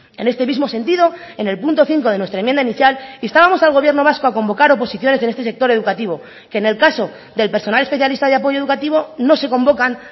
en este mismo sentido en el punto cinco de nuestra enmienda inicial instábamos al gobierno vasco a convocar oposiciones en este sector educativo que en el caso del personal especialista de apoyo educativo no se convocan